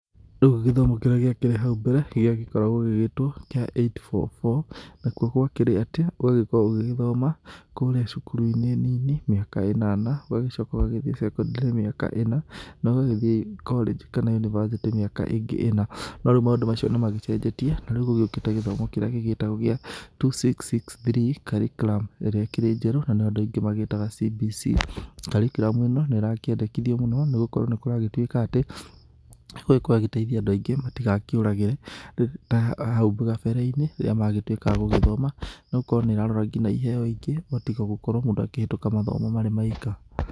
Rĩu gĩthomo kĩrĩa gĩakĩrĩ hau mbere gĩagĩkoragwo gĩgĩtwo gĩa 8-4-4. Nakuo gwakĩrĩ atĩ ũgagĩkorwo ũgĩgĩthoma kũrĩa cukuru-inĩ nini mĩaka ĩnana, ũgagĩcoka ũgagĩthiĩ cekondarĩ mĩaka ĩna, na ũgagĩthiĩ korĩnji kana yunibathĩtĩ mĩaka ĩngĩ ĩna. No rĩu maũndũ macio nĩ magĩcenjetie na rĩu gũgĩũkĩte gĩthomo kĩrĩa gĩgĩtagwo gĩa 2-6-6-3 curriculum ĩrĩa ĩkĩrĩ njerũ na nĩyo andũ aingĩ magĩtaga CBC. Curriculum ĩno nĩ ĩrakĩendekithio mũno nĩ gũkorwo, nĩ kũragĩtuĩka atĩ igũkorwo ĩgĩteithia andũ aingĩ matigakĩũragĩre ta hau kabere-inĩ rĩrĩa magĩtuĩka a gũgĩthoma, nĩ gũkorwo nĩ ĩrarora nginya iheo ingĩ ũgatiga gũkorwo mũndũ akĩhĩtũka mathomo marĩ maika.